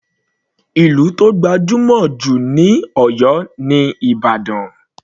Ìlú tó gbajúmọ̀ jù ní Oyo ni Ìbàdàn.